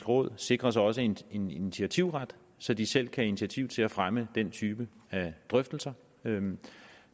råd sikres også en en initiativret så det selv kan tage initiativ til at fremme denne type drøftelser